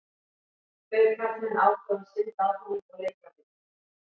Tveir karlmenn ákváðu að synda að honum og leika við hann.